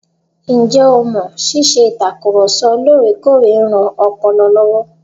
Ǹjẹ o mọ̀ ṣíṣe ìtakùrọ̀ sọ lóòrèkóòrè ń ran ọpọlọ lọ́wọ́?